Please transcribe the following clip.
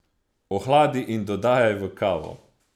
Ohladi in dodajaj v kavo.